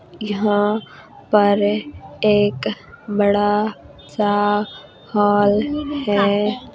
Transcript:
यहाँ पर एक बड़ा सा हॉल है